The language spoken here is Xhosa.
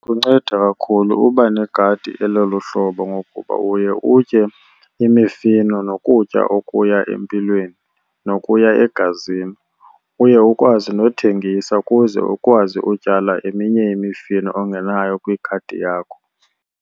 Kunceda kakhulu uba negadi elolu hlobo ngokuba uye utye imifino nokutya okuya empilweni nokuya egazini. Uye ukwazi nothengisa ukuze ukwazi utyala eminye imifino ongenayo kwigadi yakho.